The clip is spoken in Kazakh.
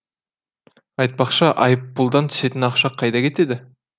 айтпақшы айыппұлдан түсетін ақша қайда кетеді